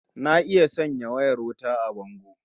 Na iya sanya wayar wuta a bango